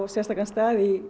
sérstakan stað í